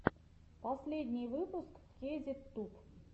последний выпуск кейзет туб